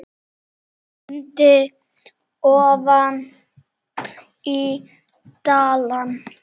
Stundi ofan í balann.